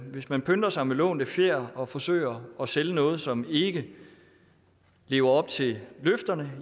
hvis man pynter sig med lånte fjer og forsøger at sælge noget som ikke lever op til løfterne